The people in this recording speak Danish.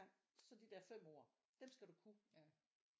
Så de der 5 ord dem skal du kunne